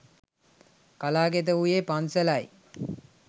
කලා කෙත වූයේ පන්සලයි